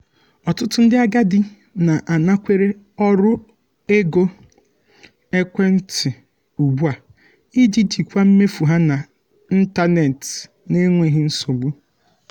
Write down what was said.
ọtụtụ ndị agadi na-anakwere ọrụ ego ekwentị ugbu a iji jikwaa mmefu ha na ntanetị n'enweghị nsogbu.